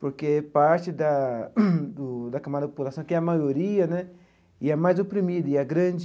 Porque parte da do da camada da população, que é a maioria né, e é mais oprimida, e é grande